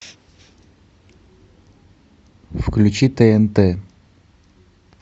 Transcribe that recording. включи тнт